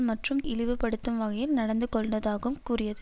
மற்றும் இழிவுபடுத்தும் வகையில் நடந்து கொண்டதாகம் கூறியது